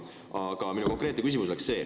Mul on üks konkreetne küsimus.